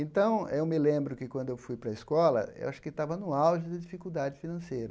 Então, eu me lembro que quando eu fui para a escola, eu acho que estava no auge da dificuldade financeira.